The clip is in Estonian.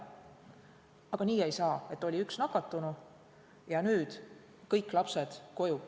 Aga nii ei saa, et oli üks nakatunu ja seepeale jäetakse kõik lapsed koju.